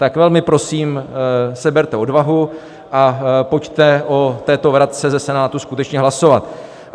Tak velmi prosím, seberte odvahu a pojďte o této vratce ze Senátu skutečně hlasovat.